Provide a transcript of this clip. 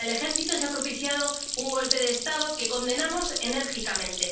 Con el ejército se ha propiciado un golpe de Estado, que condenamos enérgicamente.